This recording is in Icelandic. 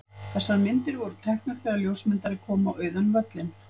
Þessar myndir voru teknar þegar ljósmyndari kom á auðan völlinn.